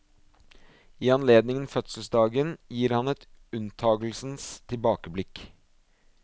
I anledningen fødselsdagen gir han et unntagelsens tilbakeblikk.